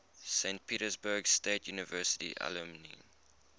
saint petersburg state university alumni